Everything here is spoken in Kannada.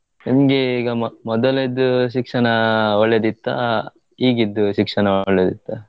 ನಿಂಗೆ ಈಗ ಮ~ ಮೊದಲಿದ್ ಶಿಕ್ಷಣ ಒಳ್ಳೆದಿತ್ತ ಈಗಿದ್ ಶಿಕ್ಷಣ ಒಳ್ಳೆದಿತ್ತ?